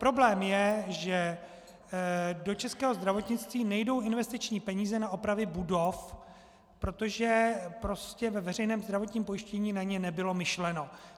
Problém je, že do českého zdravotnictví nejdou investiční peníze na opravy budov, protože vlastně ve veřejném zdravotním pojištění na ně nebylo myšleno.